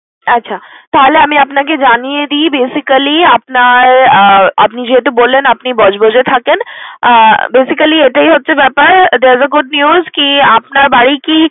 আচ্ছা, তাহলে আমি আপনাকে জানিয়ে দিই basically আপনার আহ আপনি যেহেতু বললেন আপনি বজবজে থাকেন। আহ basically এটাই হচ্ছে ব্যাপার there was a good news কি আপনার বাড়ি কি